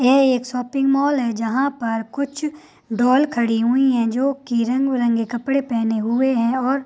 यह एक shopping mall है जहाँ पर कुछ डॉल खड़ी हुई है जो की रंग-बिरंगे कपड़े पहने हुए हैं और --